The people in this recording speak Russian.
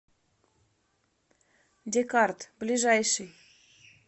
декарт ближайший